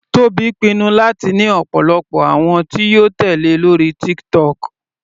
Tobi pinnu láti ní ọ̀pọ̀lọpọ̀ àwọn tí yóò tèlé lórí TikTok.